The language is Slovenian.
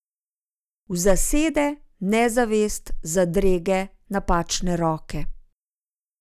V zasede, nezavest, zadrege, napačne roke ...